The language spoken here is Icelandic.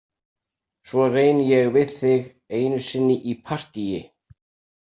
Svo reyni ég við þig einu sinni í partíi.